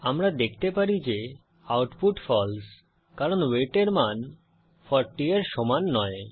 আমরা দেখতে পারি যে আউটপুট ফালসে কারণ ওয়েট এর মান 40 এর সমান নয়